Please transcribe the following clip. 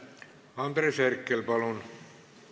Andres Herkel, palun!